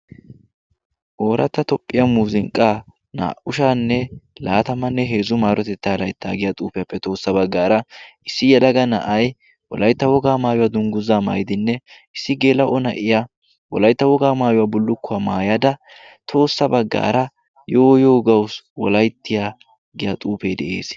ooratta tophphiya muuzinqqaa naa'ushaanne laatamanne heezzu maarotettaa laittaa giya xuufiyaappe toossa baggaara issi yalaga na'ay wolaytta wogaa maayuwaa dungguzaa maydinne issi geela o na'iya wolaytta wogaa maayuwaa bullukkuwaa maayada toossa baggaara yooyogawu wolayttiya giya xuufee de'ees.